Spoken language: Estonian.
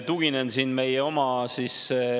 Aitäh!